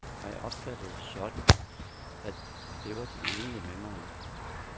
Jeg opfattede det sådan, at det var de enige med mig i.